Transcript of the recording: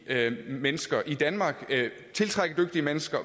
mennesker i danmark og tiltrække dygtige mennesker